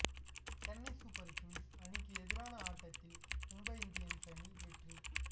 Chennai super kings அணிக்கு எதிரான ஆட்டத்தில் மும்பை இந்தியன்ஸ் அணி வெற்றி